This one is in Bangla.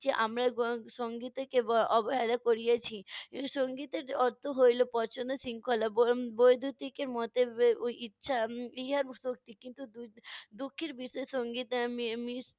যে আমরা সঙ্গীতকে ব~ অবহেলা করিইয়েছি। সঙ্গীতের অর্থ হইলো শৃঙ্খলা দুঃখের বি~ বিষয়